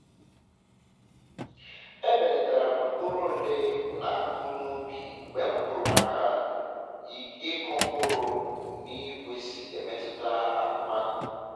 ebelatara m mkpụrụ ole m na-akụ na ubi mgbe m gụrụ maka ka ịkụ mkpụrụ na igwe si emetuta akụmakụ